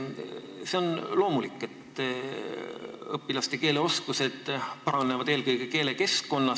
See on loomulik, et õpilaste keeleoskus paraneb eelkõige keelekeskkonnas.